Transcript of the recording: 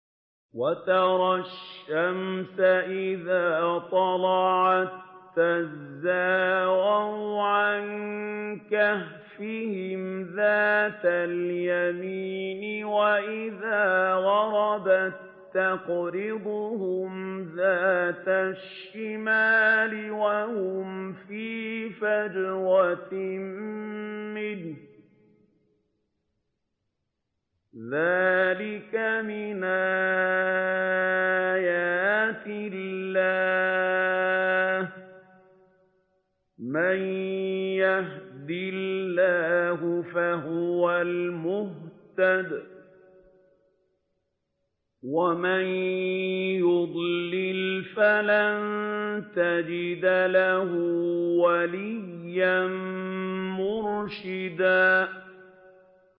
۞ وَتَرَى الشَّمْسَ إِذَا طَلَعَت تَّزَاوَرُ عَن كَهْفِهِمْ ذَاتَ الْيَمِينِ وَإِذَا غَرَبَت تَّقْرِضُهُمْ ذَاتَ الشِّمَالِ وَهُمْ فِي فَجْوَةٍ مِّنْهُ ۚ ذَٰلِكَ مِنْ آيَاتِ اللَّهِ ۗ مَن يَهْدِ اللَّهُ فَهُوَ الْمُهْتَدِ ۖ وَمَن يُضْلِلْ فَلَن تَجِدَ لَهُ وَلِيًّا مُّرْشِدًا